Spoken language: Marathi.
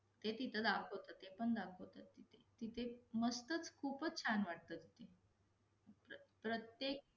तिथं दाखवतं ते पण दाखवत तिथे, तिथे मस्तच खूपच छान वाटतं तिथे, प्रत्येक